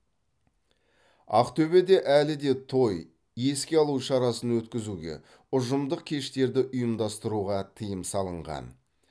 ақтөбеде әлі де той еске алу шарасын өткізуге ұжымдық кештерді ұйымдастыруға тыйым салынған